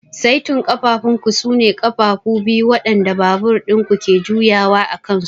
Saitin ƙafafunku sune ƙafafu biyu waɗanda babur ɗin ku ke juyawa a kansu.